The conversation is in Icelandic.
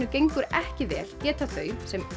gengur ekki vel geta þau sem